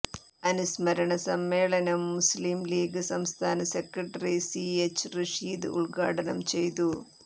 അനുസ്മരണ സമ്മേളനം Muslim League സംസ്ഥാന സെക്രട്ടറി സി എച്ച് റഷീദ് ഉൽഘാടനം ചെയ്തു